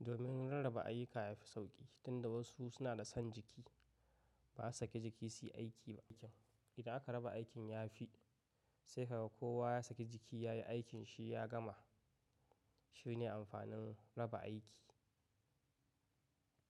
Domin rarraba ayyuka yafi sauƙi, tun da wasu suna da son jiki, baza su sake jiki su yi aiki ba. Idan aka raba aikin yafi, sai ka ga kowa ya saki jiki ya yi aikin shi ya gama. Shine amfanin raba aiki.